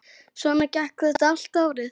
Svona gekk þetta allt árið.